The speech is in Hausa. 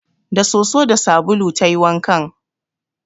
Da soso da sabulu ta yi wankan